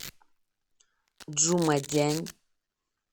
чжумадянь